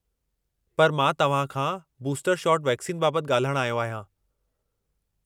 पर मां तव्हां खां बूस्टर शॉट वैक्सीन बाबतु ॻाल्हाइणु आयो आहियां।